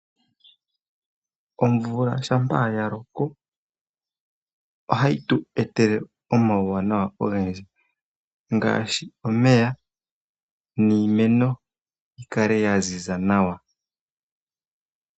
Omvula shampa yaloko, ohayi tu etele omauwanawa ogendji, ngaashi omeya, niimeno yikale yaziza nawa.